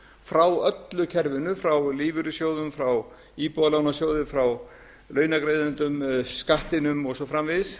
frá öllu kerfinu frá lífeyrissjóðum frá íbúðalánasjóði frá launagreiðendum skattinum og svo framvegis